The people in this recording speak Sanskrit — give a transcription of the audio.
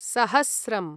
सहस्रम्